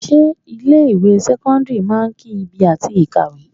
Ṣé ilé ìwé sẹ́kọ́ńdírì máa ń ki ibi àti kàwé?